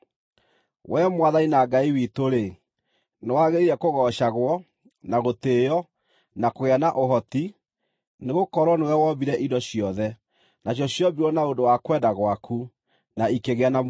“Wee Mwathani na Ngai witũ-rĩ, nĩwagĩrĩire kũgoocagwo, na gũtĩĩo, na kũgĩa na ũhoti, nĩgũkorwo nĩwe wombire indo ciothe, nacio ciombirwo na ũndũ wa kwenda gwaku, na ikĩgĩa na muoyo.”